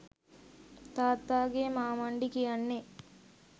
තාත්තාගේ මාමණ්ඩි කියන්නේ